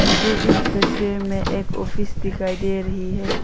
मुझे इस तस्वीर में एक ऑफिस दिखाई दे रहीं है।